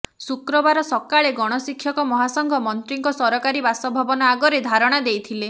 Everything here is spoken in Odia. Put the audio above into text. ଶୁକ୍ରବାର ସକାଳେ ଗଣ ଶିକ୍ଷକ ମହାସଂଘ ମନ୍ତ୍ରୀଙ୍କ ସରକାରୀ ବାସଭବନ ଆଗରେ ଧାରଣା ଦେଇଥିଲେ